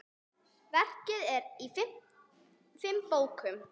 Verkið er í fimm bókum.